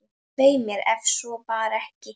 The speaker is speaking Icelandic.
Svei mér, ef svo var ekki.